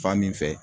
Fan min fɛ